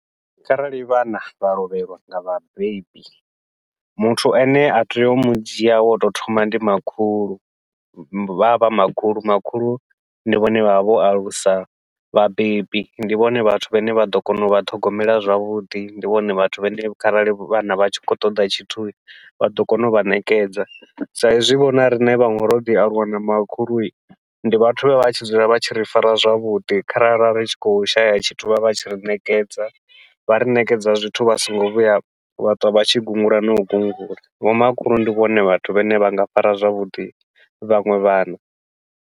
Kharali vhana vha lovhelwa nga vhabebi, muthu ane a tea u mudzhia wo tou thoma ndi makhulu vha vha makhulu, makhulu ndi vhone vha vha vho alusa vhabebi ndi vhone vhathu vhane vha ḓo kona uvha ṱhogomela zwavhuḓi ndi vhone vhathu vhane kharali vhana vha tshi khou ṱoḓa tshithu vha ḓo kona uvha ṋekedza. Sa izwi vho na riṋe vhaṅwe ro ḓi aluwa na makhulu ndi vhathu vha vha tshi dzula vha tshi ri fara zwavhuḓi, kharali ra ri tshi khou shaya tshithu vha vha tshi ri ṋekedza, vha ri ṋekedza zwithu vha songo vhuya vha ṱwa vha tshi gungula nau gungula, vhomakhulu ndi vhone vhathu vhane vha nga fara zwavhuḓi vhaṅwe vhana.